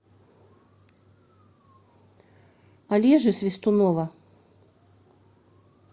олежи свистунова